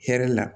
Hɛrɛ la